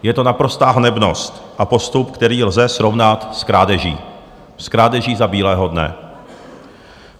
Je to naprostá hanebnost a postup, který lze srovnat s krádeží, s krádeží za bílého dne.